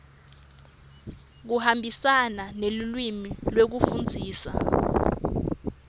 kuhambisana nelulwimi lekufundzisa